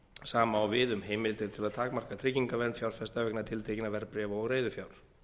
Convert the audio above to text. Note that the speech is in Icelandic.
sama á við um heimildir til að takmarka tryggingavernd fjárfesta vegna tiltekinna verðbréfa og reiðufjár